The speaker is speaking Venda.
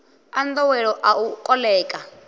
a nḓowelo a u koḽeka